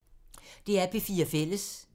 DR P4 Fælles